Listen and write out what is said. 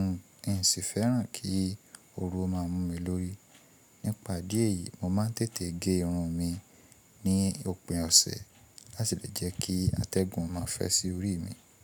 n ò sì fẹ́ràn kí oru máa mú mi lórí. Nípa idí ẹ̀yìí, mo máa tètè ge irun mi ní òpin ọ̀sẹ̀ láti lè jẹ́ kí atẹ́gùn má fẹ́ sí orí mi.